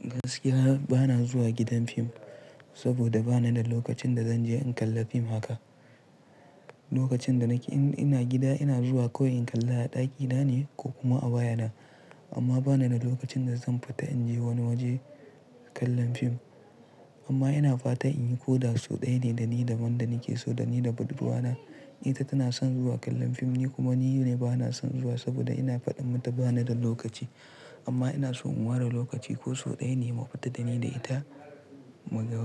Gaskiya bana zuwa gidan fim saboda bana da lokacin da zan je in kalla fim haka. Lokacin da nake ina gida ina zuwa kawai in kalla a ɗakina ne ko kuma a waya na. Amma bana da lokacin da zan fita in je wani waje in kalla fim. Amma ina fatan in yi ko da sau ɗaya ne da ni da wanda nake so da ni da budurwa na. Ita tana son zuwa kallon fim ni kuma ni ne bana son zuwa saboda ina faɗin mata bana da lokaci. Amma ina son mu ware lokaci ko sau ɗaya ne mu fita da ni da ita mu ga,